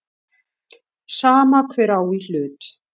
Sama hver á í hlut.